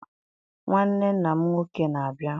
Nwanne nna m nwoke na-abịa.